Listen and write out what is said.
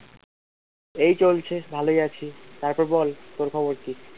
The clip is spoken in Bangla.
এই চলছে ভালোই আছি তারপর বল তোর খবর কি?